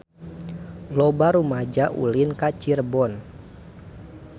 Loba rumaja ulin ka Cirebon